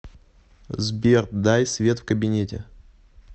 сбер дай свет в кабинете